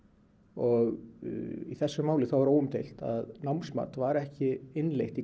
og í þessu máli þá er óumdeilt að námsmat var ekki innleitt